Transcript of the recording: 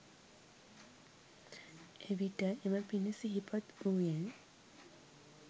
එවිට එම පින සිහිපත් වූයෙන්